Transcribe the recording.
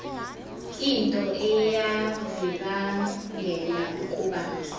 into eyavibangela ukuba